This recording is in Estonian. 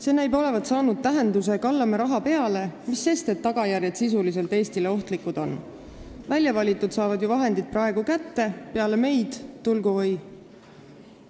See näib olevat saanud tähenduse, et kallame raha peale, mis sest, et tagajärjed sisuliselt Eestile ohtlikud on, väljavalitud saavad ju vahendid praegu kätte, peale meid tulgu või ...